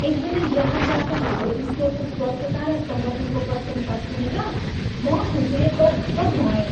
एकजना ग्राहकबाट हाम्रो स्टोरको स्वच्छता र सङ्गठनको प्रशंसा सुनेर म खुसीले गदगद भएँ।